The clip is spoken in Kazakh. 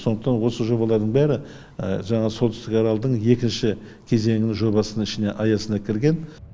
сондықтан осы жобалардың бәрі жаңағы солтүстік аралдың екінші кезеңінің жобасының ішіне аясына кірген